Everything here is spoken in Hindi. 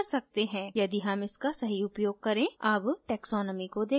अब taxonomy को देखते हैं